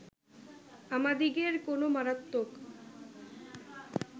আমাদিগের কোন মারাত্মক